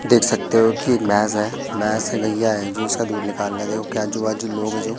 देख सकते हो की भैंस है भैंस की नैया है जो उसका दूध निकाल रहे देखो जो आजू बाजू लोग हैं जो--